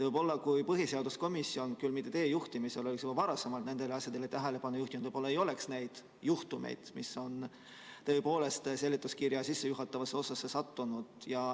Võib-olla kui põhiseaduskomisjon, küll mitte teie juhtimisel, oleks juba varasemalt nendele asjadele tähelepanu juhtinud, ei olekski neid juhtumeid, mis on tõepoolest seletuskirja sissejuhatavasse osasse sattunud.